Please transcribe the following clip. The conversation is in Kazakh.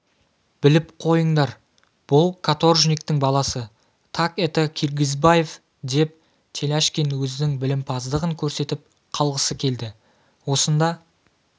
біліп қойындар бұл каторжниктің баласы так это киргизбаев деп теляшкин өзінің білімпаздығын көрсетіп қалғысы келді осында